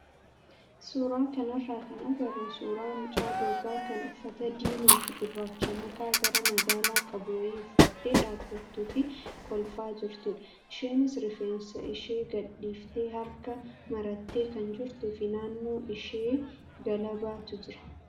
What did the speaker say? Suuraa kanarraa kan agarru suuraa mucaa dubaraa kan uffata diimaa fi gurraacha makaa gara magaala qabu wayii uffattee dhaabbattuu fi kolfaa jirtudha. Isheenis rifeensa ishee gadhiiftee harka marattee kan jirtuu fi naannoo ishee galabaatu jira.